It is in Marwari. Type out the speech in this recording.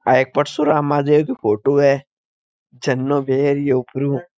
या एक परशुराम राजा की फोटो है झरनो बेरियो ऊपर हु।